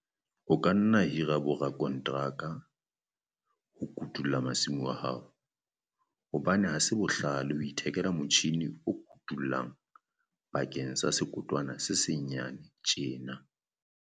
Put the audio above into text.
O ka nna wa hira borakonteraka ho kotula masimo a hao hobane ha se bohlale ho ithekela motjhine o kotulang bakeng sa sekotwana se senyane tjena.